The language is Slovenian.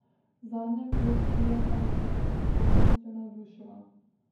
Zadnja klop kie pa nas je s prostornostjo navdušila.